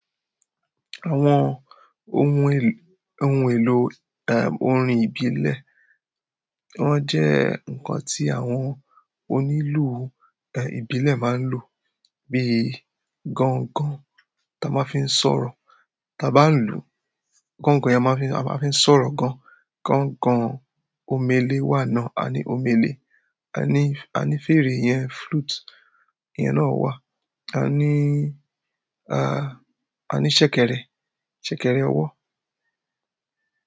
Àwọn ohun èlò, ohun èlò, orin ìbílẹ̀, wọ́n jẹ́ nǹkan tí àwọn onílù, ìbílẹ̀ máa ń lò. Bí gángan ta máa fi ń sọ̀rọ̀, ta bá ń lù, gángan yẹn a máa fi ń sọ̀rọ̀ gan. Gangan omele wa náà, a ni omele. A ní, a ní fèrè yẹn, flute iyẹn náà wà. A ní, a ní ṣẹ̀kẹ̀rẹ̀, ṣẹ̀kẹ̀rẹ̀ ọwọ́.